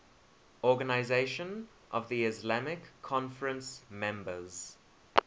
organisation of the islamic conference members